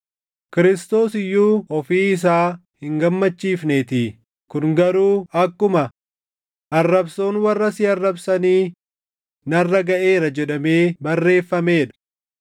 Kiristoos iyyuu ofii isaa hin gammachiifneetii; kun garuu akkuma, “Arrabsoon warra si arrabsanii narra gaʼeera” + 15:3 \+xt Far 69:9\+xt* jedhamee barreeffamee dha.